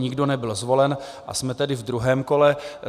Nikdo nebyl zvolen, a jsme tedy v druhém kole.